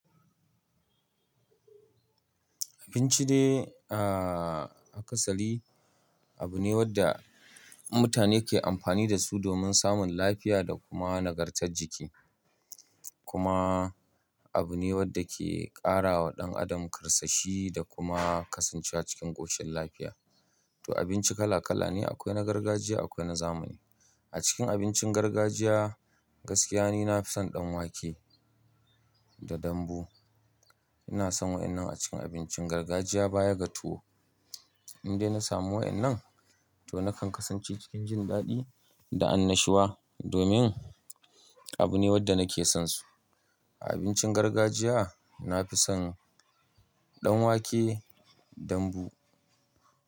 Abinci dai a kasali abu ne wadda mutane ke amfani da su domin samun lafiya da kuma nagartar jiki. Kuma abu ne wadda ke ƙara wa ɗan adam karsashi da kuma kasancewa cikin ƙoshin lafiya. To abinci kala kala ne, akwai na gargajiya akwai na zamani. A cikin abincin gargajiya, gaskiya ne na fi son ɗan wake da dambu. Ina son waɗannan a cikin abincin gargajiya baya ga tuwo. Indai na samu waɗannan to nakan kasance cikin jin daɗi da annashuwa domin abu ne wadda nake son su. A abincin gargajiya na fi son ɗan wake, dambu.